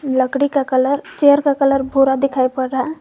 लकड़ी का colour chair का कलर भूरा दिखाई पड़ रहा--